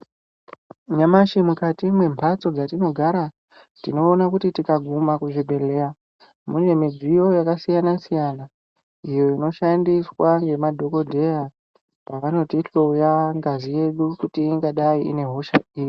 Nyamashi mukati mwemhatso dzatinogara tinoona kuti tikaguma kuzvibhedhleya mune midziyo yakasiyana siyana iyo inoshandiswa ngemadhokodheya pavanotihloya ngazi yedu kuti ingadai ine hosha iri.